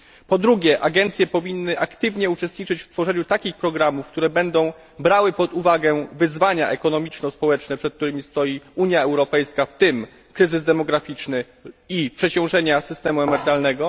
Po drugie, agencje powinny aktywnie uczestniczyć w tworzeniu takich programów, które będą brały pod uwagę wyzwania ekonomiczno społeczne, przed którymi stoi Unia Europejska, w tym kryzys demograficzny i przeciążenie systemu emerytalnego.